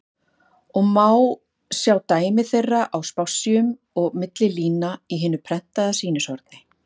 og má sjá dæmi þeirra á spássíum og milli lína í hinu prentaða sýnishorni.